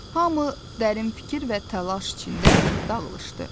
Hamı dərin fikir və təlaş içində dağılışdı.